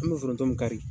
An bɛ foronto mun kari